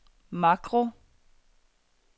makro